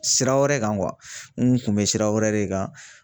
Sira wɛrɛ kan n kun bɛ sira wɛrɛ de kan.